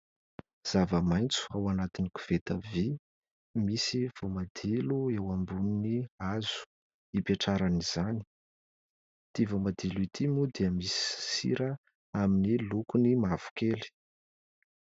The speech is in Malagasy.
Zava-maitso ao anatin'ny koveta vy, misy voamadilo eo ambonin'ny hazo hipetrahan'izany, ity voamadilo ity moa dia misy sira amin'ny lokony mavokely.